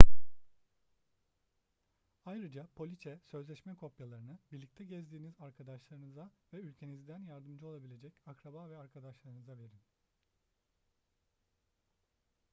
ayrıca poliçe/sözleşme kopyalarını birlikte gezdiğiniz arkadaşlarınıza ve ülkenizden yardımcı olabilecek akraba ve arkadaşlarınıza verin